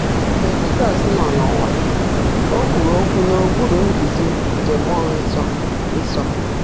Mgbe Jizọs nọ n’ụwa, o kwuru okwu n’okpuru nduzi nke mmụọ nsọ. nsọ.